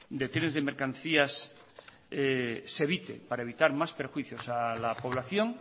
de trenes de mercancías se evite para evitar más perjuicios a la población